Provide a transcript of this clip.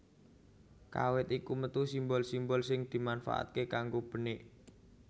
Kawit iku metu simbol simbol sing dimanfaatake kanggo benik